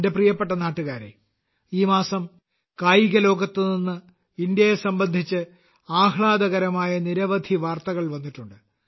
എന്റെ പ്രിയപ്പെട്ട നാട്ടുകാരെ ഈ മാസം കായിക ലോകത്ത് നിന്ന് ഇന്ത്യയെ സംബന്ധിച്ച് ആഹ്ളാദ കരമായ നിരവധി വാർത്തകൾ വന്നിട്ടുണ്ട്